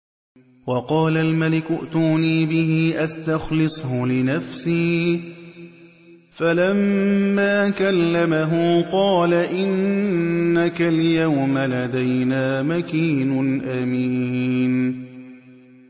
وَقَالَ الْمَلِكُ ائْتُونِي بِهِ أَسْتَخْلِصْهُ لِنَفْسِي ۖ فَلَمَّا كَلَّمَهُ قَالَ إِنَّكَ الْيَوْمَ لَدَيْنَا مَكِينٌ أَمِينٌ